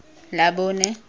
labone